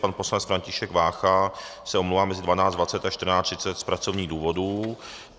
Pan poslanec František Vácha se omlouvá mezi 12.20 a 14.30 z pracovních důvodů.